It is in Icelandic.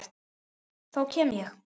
Þá kem ég